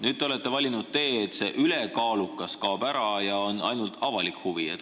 Nüüd te olete valinud selle tee, et ülekaalukus kaob ära ja jääb ainult avalik huvi.